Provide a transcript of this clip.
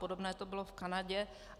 Podobné to bylo v Kanadě.